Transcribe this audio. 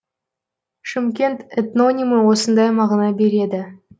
шымкент этнонимі осындай мағына береді